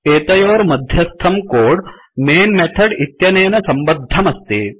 एतयोर्मध्यस्थं code main method इत्यनेन सम्बद्धमस्ति